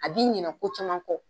A b'i ɲinɛ ko caman kɔ.